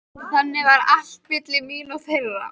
Þannig var allt milli mín og þeirra.